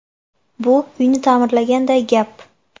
Bu uyni ta’mirlaganday gap.